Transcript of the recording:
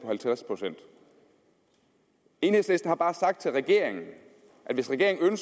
halvtreds procent enhedslisten har bare sagt til regeringen at hvis regeringen